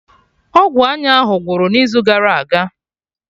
Ọgwụ anya ahụ gwụrụ n'izu gara aga